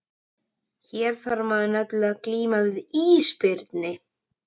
Hér þarf maður nefnilega að glíma við ísbirni!